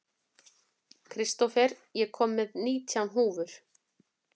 Kristófer, ég kom með nítján húfur!